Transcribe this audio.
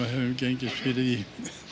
höfum gengist fyrir því